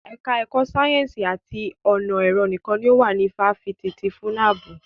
Ẹka ẹ̀kọ́ sáyẹ́nsì àti ọ̀nà ẹ̀rọ nìkan ni ó wà ní ifáfitì ti FUNAB.